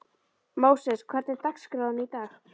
Móses, hvernig er dagskráin í dag?